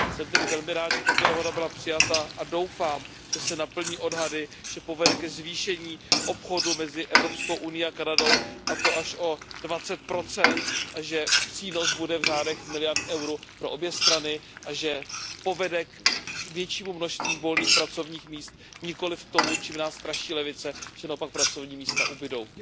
Jsem tedy velmi rád, že tato dohoda byla přijata a doufám, že se naplní odhady, že povede ke zvýšení obchodu mezi Evropskou unií a Kanadou, a to až o 20 a že přínos bude v řádech miliard eur pro obě strany a že povede k většímu množství volných pracovních míst, nikoliv k tomu, čím nás straší levice, že naopak pracovní místa ubydou.